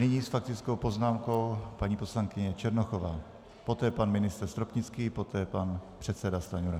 Nyní s faktickou poznámkou paní poslankyně Černochová, poté pan ministr Stropnický, poté pan předseda Stanjura.